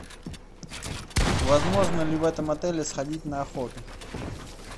возможно ли в этом отеле сходить на охоту